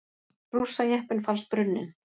Rússajeppinn fannst brunninn